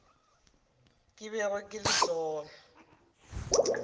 ke bego ke le sona